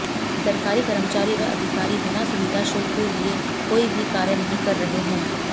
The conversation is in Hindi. सरकारी कर्मचारी व अधिकारी बिना सुविधा शुल्क लिए कोई भी कार्य नहीं कर रहे हैं